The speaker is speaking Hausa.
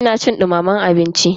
Ina cin dumamen abinci.